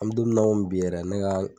An be don mun na i komi bi yɛrɛ ne ka